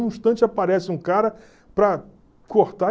Num instante aparece um cara para cortar.